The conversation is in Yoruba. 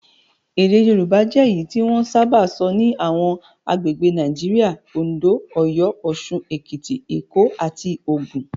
Èdè Yorùbá jẹ́ èyí tí wọ́n sábà sọ ní àwọn agbègbè Nigeria; Oǹdó, Ọ̀yọ́, Òṣun, Èkìtì, Èkó, àti Ògùn.